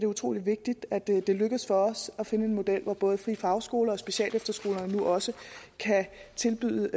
utrolig vigtigt at det det lykkedes for os at finde en model hvor både frie fagskoler og specialefterskoler nu også kan tilbyde